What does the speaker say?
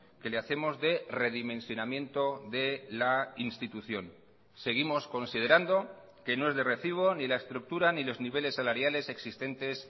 que le hacemos de redimensionamiento de la institución seguimos considerando que no es de recibo ni la estructura ni los niveles salariales existentes